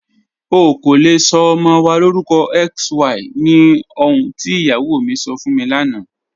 Ọ̀ kò lè sọ ọmọ wa lórúkọ XY ní ọ̀hùn tí iyáwó mi sọ́ fún mi lánà.